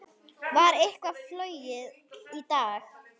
Var eitthvað flogið í dag?